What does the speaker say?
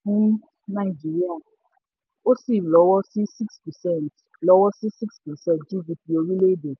fún nàìjíríà ó sì lọ́wọ́ sí six percent lọ́wọ́ sí six percent gdp orílẹ̀-èdè.